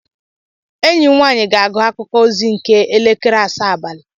Enyi m nwaanyị ga-agụ akụkụ ozi nke elekere asaa abalị.